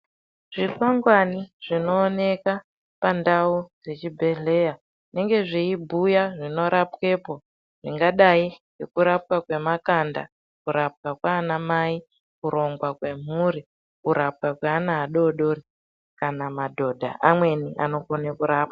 Zvikwakwani zvinooneka pandau zvechibhehleya zvinenge zveibhuya zvinorapwepo zvingadai ngekurapwa kwemakanda kurapwa kwana mai kurungwa kwemhuri kurapwa kweana adodori kana madhodha amweni anokone rapwa.